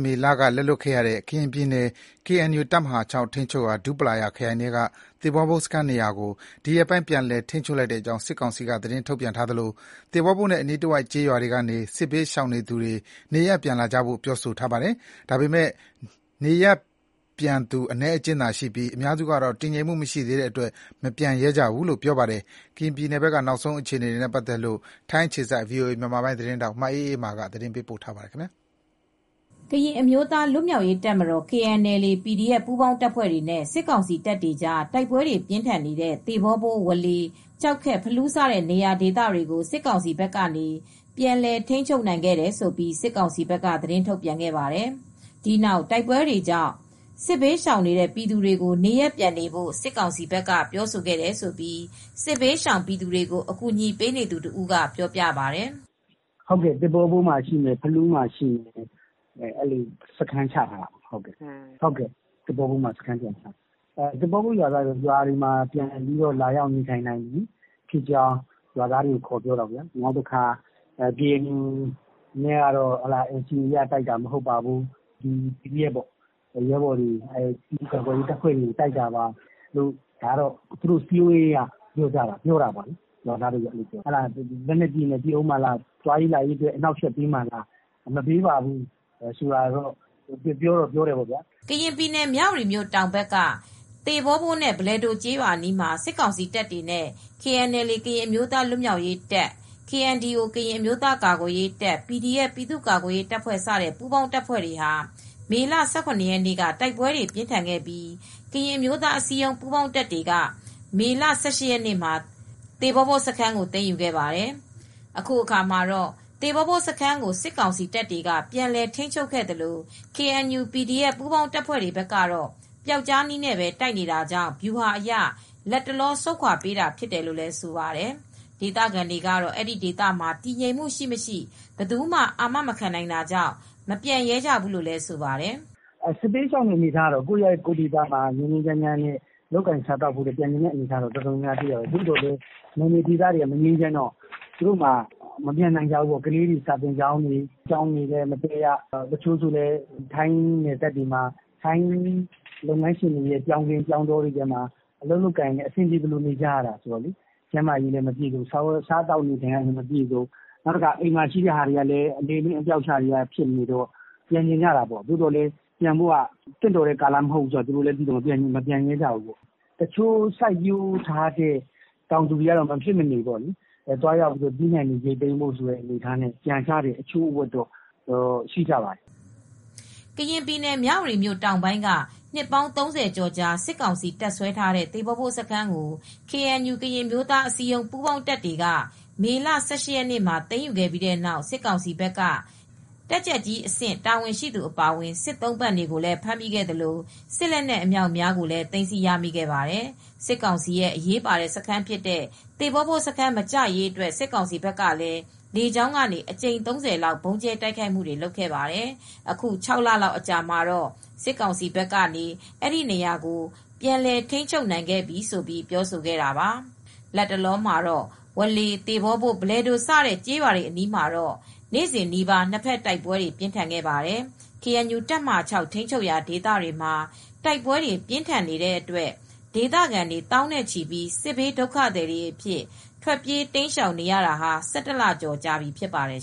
မေလက လက်လွှတ်ခဲ့ရတဲ့ ကရင်ပြည်နယ် ကေအန်ယူတပ်မဟာ (၆) ထိန်းချုပ်ရာ ဒူးပလာယာခရိုင်ထဲက သေဘောဘိုးစခန်းနေရာကို ဒီရက်ပိုင်း ပြန်လည်ထိန်းချုပ်လိုက်တဲ့အကြောင်း စစ်ကောင်စီက သတင်းထုတ်ပြန်ထားသလို သေဘောဘိုးနဲ့ အနီးတဝိုက် ကျေးရွာတွေကနေ စစ်ဘေးတိမ်းရှောင်နေသူတွေ နေရပ်ပြန်လာကြဖို့ ပြောဆိုထားပါတယ်။ ဒါပေမဲ့ နေရပ်ပြန်တဲ့ပြည်သူ အနည်းအကျဉ်းသာရှိပြီး အများစုကတော့ တည်ငြိမ်မှုမရှိသေးတဲ့အတွက် မပြန်ရဲကြဘူးလို့ ပြောပါတယ်။ ကရင်ပြည်နယ်ဘက်က နောက်ဆုံး အခြေအနေတွေနဲ့ ပတ်သက်လို့ ထိုင်းအခြေစိုက် ဗွီအိုအေ မြန်မာသတင်းထောက် မအေးအေးမာက သတင်းပေးပို့ထားပါတယ်။ ကရင်အမျိုးသားလွတ်မြောက်ရေးတပ်မတော်-KNLA / PDF ပူးပေါင်းတပ်ဖွဲတွေနဲ့စစ်ကောင်စီ တပ်တွေကြား တိုက်ပွဲပြင်းထန်နေတဲ့ သေ့ဘောဘိုး ဝေါလေ၊ ကျောက်ခက်၊ ဖလူးစတဲ့ နေရာတွေကို စစ်ကောင်စီဘက်ကနေ ပြန်လည်ထိန်းချုပ်နိုင်ခဲ့တယ်လို့ စစ်ကောင်စီဘက်ကသတင်းထုတ်ပြန်ခဲ့ပါတယ်။ ဒီနောက် တိုက်ပွဲတွေကြောင့် စစ်ဘေးရှောင်နေတဲ့ပြည်သူတွေကို နေရပ်ပြန်နေဖို့ စစ်ကောင်စီဘက်ကပြောဆိုခဲ့တယ်လို့စစ်ဘေးရှောင်တွေကို အကူညီပေးနေသူတဦးကပြောပြပါတယ်။ “သေ့ဘောဘိုးမှာရှိတယ်။ ဖလူးမှာရှိတယ်။ အဲဒီလိုစခန်းချထားတာပါ။ သေ့ဘောဘိုးမှာလည်းစခန်းပြန်ချပါတယ်။ သေ့ဘောဘိုးရွာသားတွေကိုတော့ခေါ်ပြောပြီး ရွာတွေမှာပြန်ပြီးနေထိုင်လို့ရပါပြီလို့ ခေါ်ပြောတာပေါ့။ KNU ကိုတော့ NCA အရဆို တိုက်တာမဟုတ်ပါဘူး။ PDF တွေ၊ ပြည်သူ့ကာကွယ်ရေးတပ်တွေကို တိုက်တယ်ပြောတာပေါ့ဗျာ၊ ရွာသားတွေကလည်း လက်နက်ကြီးတွေနဲ့ ပစ်အုံးမှာလား၊ သွားလာရေးကိုအနှောက်ယှက်ပေးအုံးမှာလားဆိုပြီးတော့လည်းပြောတာပေါ့ဗျာ၊ သူတို့ (စစ်ကောင်စီဘက်)ကတော့ မပေးတော့ပါဘူး၊ မပစ်တော့ပါဘူးပြောတာပေါ့။” ကရင်ပြည်နယ် မြဝတီမြို့ တောင်ဘက်က သေ့ဘောဘိုးနဲ့ဘလယ်ဒိုကျေးရွာအနီးမှာ စစ်ကောင်စီတပ်တွေနဲ့ KNLA ကရင်အမျိုးသားလွတ်မြောက်ရေးတပ်၊ KNDO ကရင်အမျိုးသားကာကွယ်ရေးတပ်နဲ့ PDF ပြည့်သူ့ကာကွယ်ရေးတပ်ဖွဲ့စတဲ့ ပူးပေါင်းတပ်တွေဟာ မေလ ၁၇ ရက်နေ့က တိုက်ပွဲတွေပြင်းထန်ခဲ့ပြီး ကရင်အမျိုးသားအစည်းအရုံး ပူးပေါင်းတပ်တွေက မေလ ၁၈ ရက်နေ့မှာ သိမ်းယူခဲ့ပါတယ်။ အခုအခါမှာတော့ သေ့ဘောဘိုးစခန်းကို စစ်ကောင်စီတပ်တွေကပြန်လည်ထိန်းချုပ်ခဲ့သလို KNU/PDF ပူးပေါင်းတပ်ဖွဲ့တွေဘက်ကတော့ ပျောက်ကျားနည်းနဲ့ပဲတိုက်နေတာကြောင့် ဗျူဟာအရ လက်တလောဆုတ်ခွါပေးတာဖြစ်တယ်လို့ ဆိုပါတယ်။ ဒေသခံတွေကတော့ အဲဒီဒေသမှာ တည်ငြိမ်မှုရှိမရှိ ဘယ်သူမှ အာမမခံနိုင်တာကြောင့် မပြန်ရဲကြဘူးလို့လည်း ဆိုပါတယ်။ “စစ်ဘေးရှောင်တွေကတော့ ကိုယ့်ရပ်ကိုယ်ဒေသမှာ ငြိမ်းငြိမ်းချမ်းချမ်းနဲ့နေချင်တော့ ပြန်ချင်တာပေါ့ဗျာ။ ဒါပေမဲ့လည်းသူတို့မှာ နယ်မြေဒေသမငြိမ်းချမ်းတော့ မပြန်နိုင်ကြဘူး။ သူတို့က ကလေးတွေ စာသင်ကျောင်းတွေမှာ မတက်ရ။ ထိုင်းနိုင်ငံသားလုပ်ငန်းရှင်တွေရဲ့စိုက်ခင်းတွေမှာပြောင်းစိုက်ကြ၊ စားဝတ်နေရေးကလည်းမပြည်စုံ၊ ကျန်းမာရေးတွေလည်းမကောင်း၊ အိမ်ပြန်တော့လည်း သူတို့ရဲ့အသုံးအဆောင်ပစ္စည်းတွေလည်း အလေအလွင့် အပျောက်အရှတွေရှိနေတော့လည်း... ပြန်ချင်ကြတာပေါ့။ ဒါပေမယ့် ပြန်ဖို့ကလည်းသင့်တော်တဲ့အနေအထားမဟုတ်တော့လည်း မပြန်ရဲကြဘူးပေါ့။ တချို့ကျတော့လည်းစိုက်ပျိုးထားတဲ့သီးနှံတွေ ပြန်ရိတ်သိမ်းဖို့တွေကလည်းရှိတော့ တချို့တလေတော့လည်း ပြန်ကြသူတွေလည်းရှိပါတယ်။” ကရင်ပြည်နယ် မြဝတီမြို့တောင်ပိုင်းက နှစ်ပေါင်း ၃၀ ကျော်ကြာ စစ်ကောင်စီတပ်စွဲထားတဲ့ သေ့ဘောဘိုးစခန်းကို KNU ကရင်အမျိုးသားအစည်းအရုံး ပူးပေါင်းတပ်တွေ သေဘော့ဘိုးစခန်းကို မေလ ၁၈ ရက်နေ့မှာ တိုက်ခိုက်သိမ်းယူခဲ့ပြီးတဲ့နောက် စစ်ကောင်စီဘက်က တပ်ကြပ်ကြီးအဆင့် တာဝန်ရှိသူအပါအဝင် စစ်သုံးပန့်တွေကိုလည်းဖမ်းမိခဲ့သလို စစ်လက်နက်အမြောက်အများလည်းသိမ်းဆည်းရမိခဲ့ပါတယ်။ စစ်ကောင်စီရဲ့အရေးပါတဲ့စခန်းဖြစ်တဲ့ သေ့ဘောဘိုးစခန်းမကျရေးအတွက် စစ်ကောင်စီဘက်ကလည်း လေကြောင်းကနေ အကြိမ် ၃၀ လောက် ဗုံးကြဲတိုက်ခိုက်မှုတွေလုပ်ခဲ့ပါတယ်။ အခု ၆ လလောက်အကြာမှာတော့ စစ်ကောင်စီဘက်က အဲဒီနေရာကို ပြန်လည်ထိန်းချုပ်နိုင်ခဲ့ပြီလို့ ပြောဆိုခဲ့တာပါ။ လတ်တလောမှာ ဝေါလေ၊ သေ့ဘောဘိုး၊ ဘလယ်ဒိုစတဲ့ ကျေးရွာတွေနားမှာ နေ့စဉ်နီးပါး နှစ်ဘက် တိုက်ပွဲတွေပြင်းထန်ခဲ့ပါတယ်။ ကေအန်ယူတပ်မဟာ (၆) ထိန်းချုပ်ရာဒေသတွေမှာ တိုက်ပွဲတွေပြင်းထန်နေတဲ့အတွက် ဒေသခံသောင်းနဲ့ချီပြီး စစ်ဘေးဒုက္ခသည်တွေအဖြစ် ထွက်ပြေးတိမ်းရှောင်နေရတာဟာ ၁၁ လကျော်ကြာပြီဖြစ်ပါတယ်